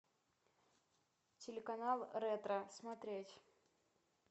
телеканал ретро смотреть